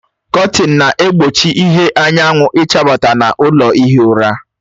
Kọtinị na-egbochi ìhè anyanwụ ịchabata n'ime ụlọ ihi ụra